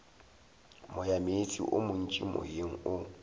moyameetse o montši moyeng o